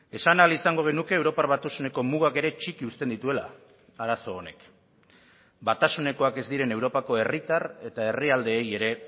esan ahal izango genuke europar batasuneko mugak ere txiki uzten dituela arazo honek batasunekoak ez diren europako herritar eta herrialdeei ere